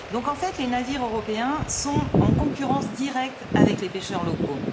En fait, les navires européens sont en concurrence directe avec les pêcheurs locaux.